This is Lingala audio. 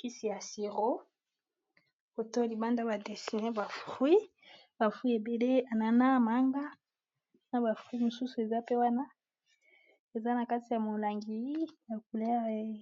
kisi ya siro foto libanda ba dessine ba fruit ba fruit ebele anana, manga na ba fruit mosusu eza pe wana eza na kati ya molangi ya langi